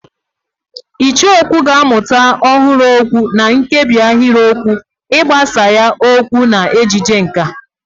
Icheokwú ga-amụta ọhụrụ okwu na nkebi ahịrịokwu, ịgbasa ya okwu na ejije nkà.